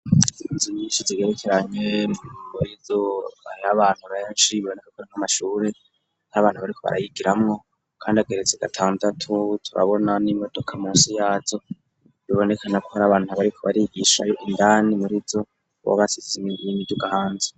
Inzo nyinshi zigerekeranyee go rizobahra bantu rayaciri biboneka kora nk'amashure n'abantu bariko barayigiramwo, kandi ageretze gatandatu tubabona n'imodoka mu si yazo bibonekana ko hari abantu bariko barigishayo indani murizo wabasizimigirainmiryo uga hanza.